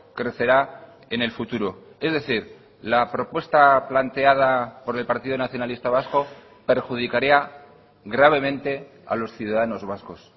crecerá en el futuro es decir la propuesta planteada por el partido nacionalista vasco perjudicaría gravemente a los ciudadanos vascos